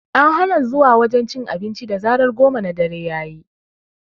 An hana zuwa wajen cin abinci da zarar goma na dare yayi